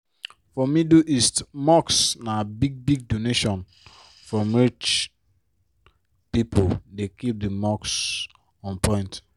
for middle east mosques na big-big donations from rich pipo dey keep di mosque on point.